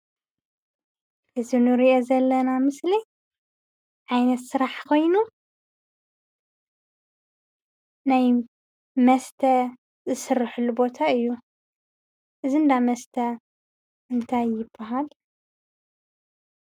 እዚ እንሪኦ ዘለና ምስሊ ዓይነት ስራሕ ኾይኑ ናይ መስተ ዝስረሓሉ ቦታ እዩ፡፡ እዚ እንዳመስተ እንታይ ይባሃል?